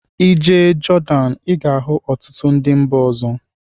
I jee Jordan I ga-ahụ ọtụtụ ndị mba ọzọ.